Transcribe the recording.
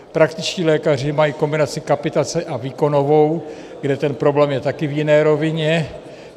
Praktičtí lékaři mají kombinaci kapitace a výkonovou, kde ten problém je také v jiné rovině.